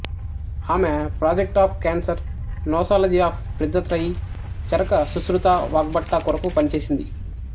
ఆమె project of cancer nosology of Vriddhatrayi Charaka Sushruta Vagbhata కొరకు పనిచేసింది